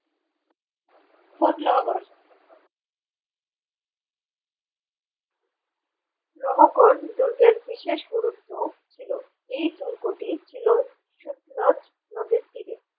লহগড় দুর্গের বিশেষ গুরুত্ব ছিল এই দুর্গটি ছিল শুকনোর নদীর তীরে।